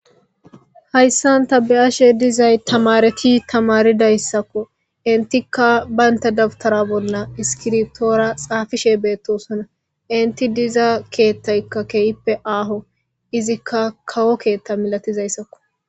hayssan ta be'ashe dizay tamareti tamaridayssakko intikka baynta dabtara bolla iskirtoora xaafishe beettosona inti diza keettaykka keyippe aaho izikka kawo keetta milatizayssakko